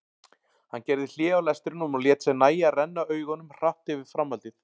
Hann gerði hlé á lestrinum og lét sér nægja að renna augunum hratt yfir framhaldið.